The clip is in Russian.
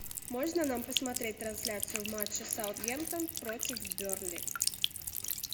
можно нам посмотреть трансляцию матча саутгемптон против бернли